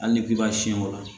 Hali ni k'i b'a siyɛn o la